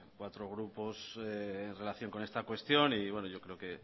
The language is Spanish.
cuatro grupos en relación con esta cuestión y yo creo que